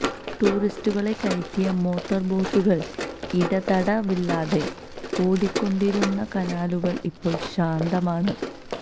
ടൂറിസ്റ്റുകളെ കയറ്റിയ മോട്ടോർ ബോട്ടുകൾ ഇടതടവില്ലാതെ ഓടിക്കൊണ്ടിരുന്ന കനാലുകൾ ഇപ്പോൾ ശാന്തമാണ്